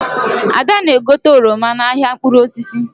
Ada na-egote oroma n'ahịa mkpụrụ osisi.